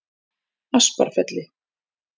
Asparfelli